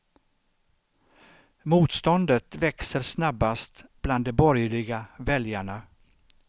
Motståndet växer snabbast bland de borgerliga väljarna.